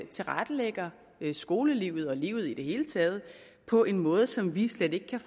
tilrettelægger skolelivet og livet i det hele taget på en måde som vi slet ikke kan